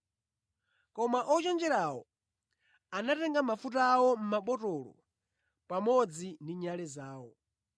koma ochenjerawo anatenga mafuta awo mʼmabotolo pamodzi ndi nyale zawo.